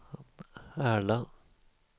Ärla